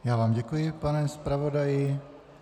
Já vám děkuji, pane zpravodaji.